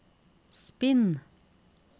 spinn